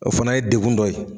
O fana ye degun dɔ ye